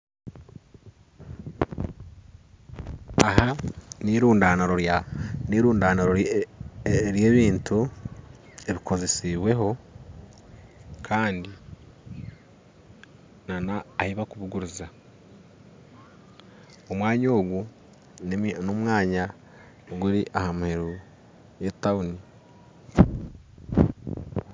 Aha nirundaaniro nirundaaniro ry'ebintu ebikozesibweho kandi n'ahi barikubiguriza omwanya ogu n'omwanya oguri aha muheru gw'etawuni